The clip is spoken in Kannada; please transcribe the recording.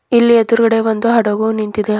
ಇಲ್ಲಿ ಎದ್ರುಗಡೆ ಒಂದು ಹಡಗು ನಿಂತಿದೆ.